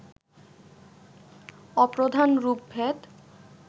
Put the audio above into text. অপ্রধান রূপভেদ